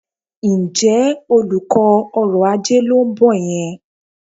Ǹjẹ́ olùkọ́ ọrọ̀-ajé ló ń bọ̀ yẹn?